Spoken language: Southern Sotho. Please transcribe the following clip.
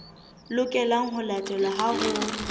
lokelang ho latelwa ha ho